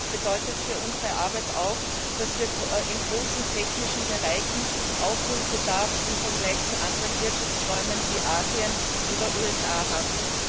bedeutet für unsere Arbeit auch, dass wir in großen technischen Bereichen Aufholbedarf im Vergleich zu anderen Wirtschaftsräumen wie Asien oder USA haben.